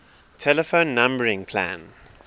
telephone numbering plan